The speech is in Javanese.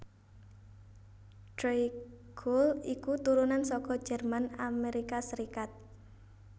Tré Cool iku turunan saka Jerman Amerika Sarékat